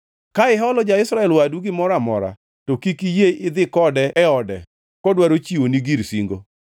Ka iholo ja-Israel wadu gimoro amora, to kik iyie idhi kode e ode kodwaro chiwoni gir singo.